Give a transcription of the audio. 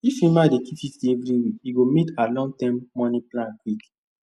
if emma dey keep 50 every week e go meet her longterm money plan quick